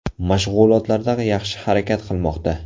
Mashg‘ulotlarda yaxshi harakat qilmoqda.